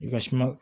I ka suma